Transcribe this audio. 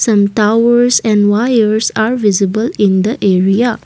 some towers and wires are visible in the area.